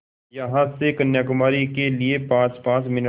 यहाँ से कन्याकुमारी के लिए पाँचपाँच मिनट